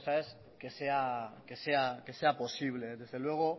y otra cosa es que sea posible desde luego